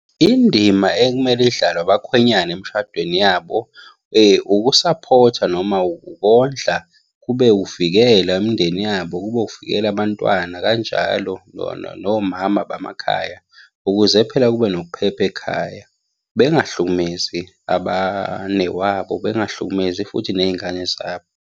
Indima ekumele idlalwe abakhwenyane emshadweni yabo, ukusaphotha noma ukondla, kube uvikela imindeni yabo, kube uvikela abantwana, kanjalo bona nomama bamakhaya, ukuze phela kube nokuphepha ekhaya. Bengahlukumezi abanewabo, bengahlukumezi futhi ney'ngane zabo.